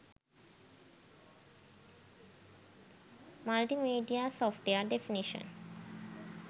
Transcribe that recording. multimedia software definition